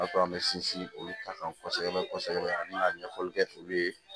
O y'a sɔrɔ an bɛ sinsin olu ta kan kosɛbɛ kosɛbɛ an bɛ ka ɲɛfɔli kɛ olu ye